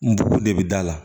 N bugun de bɛ d'a la